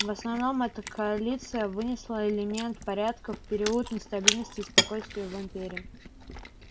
в основном эта коалиция вынесла элемент порядка в период нестабильности и спокойствия в империи